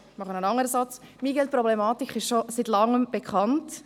Die MiGeL-Problematik ist schon seit Langem bekannt.